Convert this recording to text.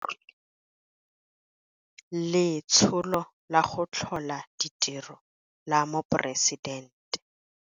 Letsholo la go Tlhola Ditiro la Moporesidente